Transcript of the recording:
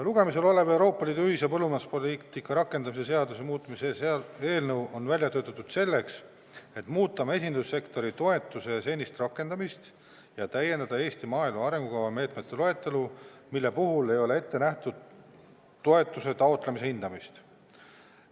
Lugemisel olev Euroopa Liidu ühise põllumajanduspoliitika rakendamise seaduse muutmise seaduse eelnõu on välja töötatud selleks, et muuta mesindussektori toetuse senist rakendamist ja täiendada Eesti maaelu arengukava meetmete loetelu, mille puhul ei ole ette nähtud toetuse taotlemise hindamist.